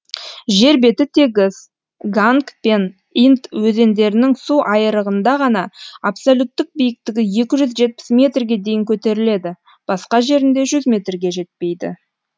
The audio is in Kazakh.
жер беті тегіс ганг пен инд өзендерінің су айырығында ғана абсолюттік биіктігі екі жүз жетпіс метрге дейін көтеріледі басқа жерінде жүз метрге жетпейді